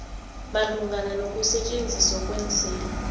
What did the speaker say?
malungana nokusetjenziswa kweenselo